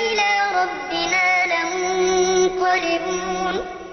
إِلَىٰ رَبِّنَا لَمُنقَلِبُونَ